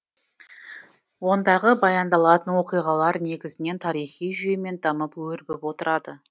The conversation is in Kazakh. ондағы баяндалатын оқиғалар негізінен тарихи жүйемен дамып өрбіп отырады